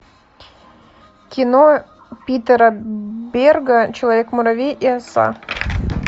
кино питера берга человек муравей и оса